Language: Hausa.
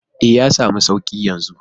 E,, ya samu suƙi yanzu.